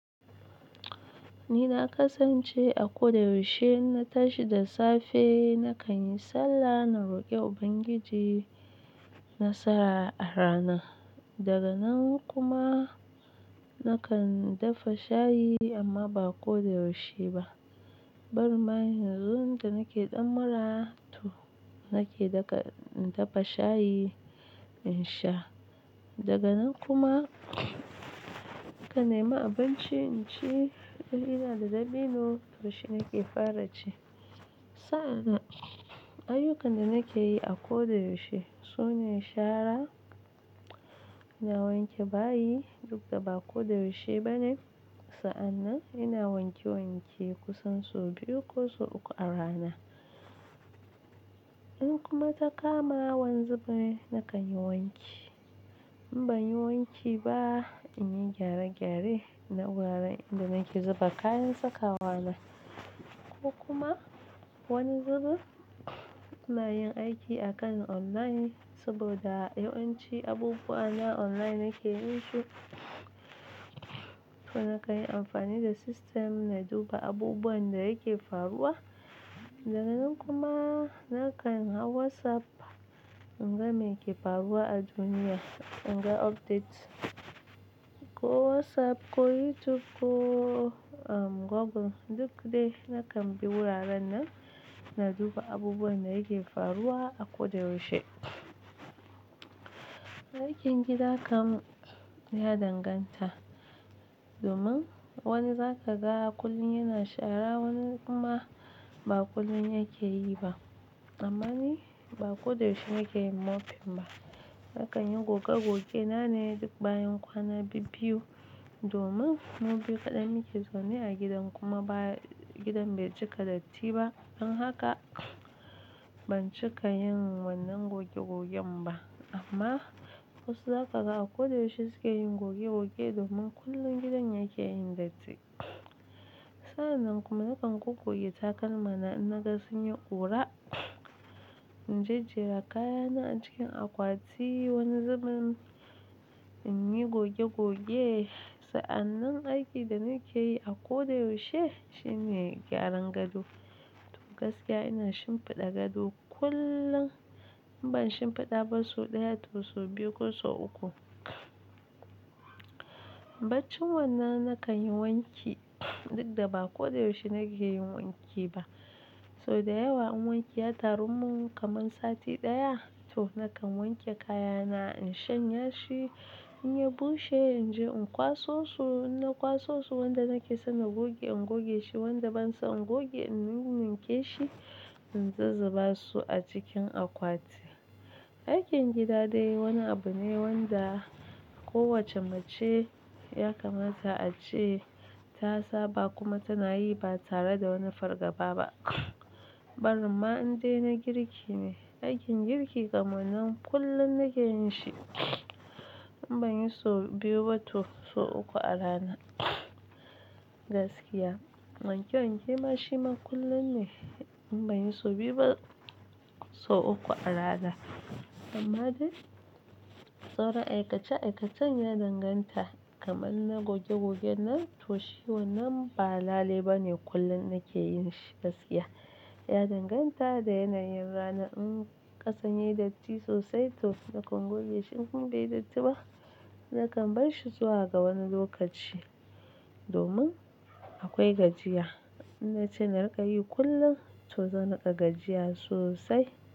Ni na kasance a ko da yaushe inna tashi da safe, na kan yi sallah, na roƙi Ubangiji nasara a ranar. Daga nan kuma na kan dafa shayi amma ba ko da yaushe ba. Barin ma yanzu da nake ɗan mura to, nake dafa shayi in sha. Daga nan kuma kanema abinci in ci. In ina da dabino, to shi nake fara ci. Sa'an nan ayyukan da nake yi a ko da yaushe su ne shara. Na wanke bayi duk da ba ko da yaushe ba ne. Sa'an nan ina wanke-wanke kusan so biyu ko so uku a rana. In kuma ta kama wani zubin, na kan yi wanki. In ban yi wanki ba, in yi gyare-gyare na wuraren inda nake zuba kayan sakawa na. Ko kuma wani zubin, ina yin aiki a kan online saboda yawanci abubuwa na online nake yin su. To na kayi amfani da system na duba abubuwan da yake faruwa. Daga nan kuma na kan hau WhatsApp in ga me ke faruwa a duniya, in ga updates. Ko WhatsApp, ko YouTube, ko Google, duk dai na kan bi wuraren nan na duba abubuwan da yake faruwa a ko da yaushe. Aikin gida kan ya danganta. Domin wani zaka ga kullum yana shara, wani kuma ba kullum yake yi ba. Amma ni ba ko da yaushe nake yin mofin ba. Na kan yi gogs-goge na ne duk bayan kwana bibbiyu domin mu biyu kaɗai muke zaune a gidan kuma gidan bai cika datti ba. Don haka ban cika yin wannan goge-gogen ba. Amma wasu zaka ga a ko da yaushe suke yin goge-goge domin kullum gidan yake yin datti. Sa'an nan kuma nakan goggoge takalma na in naga sunyi ƙura. In jejjera kayana a cikin akwati wani zubin, in yi goge-goge. Sa'an nan aikin da nake yi a ko da yaushe shi ne gyaran gado. To gaskiya ina shimfiɗa gado kullum. In ban shimfiɗa ba sau ɗaya toh sau biyu ko sau uku. Baccin wannan na kan yi wanki duk da ba ko da yaushe nake yin wanki ba. Sau da yawa in wanke ya taru mun kamar sati ɗaya. Toh na kan wanke kayana, in shanya shi, in yi bushe, in je in kwaso su. In na kwaso su, wanda nake so na goge in goge shi, wanda ban so in goge, in ninninke shi, in ta zuba su a cikin akwati. Aikin gida dai wani abu ne wanda kowace mace ya kamata a ce ta saba kuma tana yi ba tare da wani fargaba ba. Bari nma in dai na girki ne. Aikin girki kam nan kullum nake yin shi. In ban yi sau biyu ba toh so uku a rana. Gaskiya wanke-wanke ma shi ma kullum ne. In ban yi sau biyu ba sau uku a rana. Amma dai sauran aikace-aikacen ya danganta. Kamar na goge-gogen nan toh shi wannan ba lale ba ne kullum nake yin shi gaskiya. Ya danganta da yanayin rana. In ƙasan ya yi datti sosai toh nakan goge shi. Inkuma beyi datti ba, na kan bar shi zuwa ga wani lokaci domin akwai gajiya. In nace na riƙa yi kullum toh zan riƙa gajiya sosai.